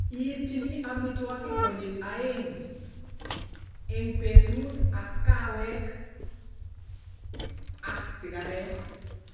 Ipchiini amitwoogik koonyil aeng' ing' peetut, ak kaaweek ak sigareet.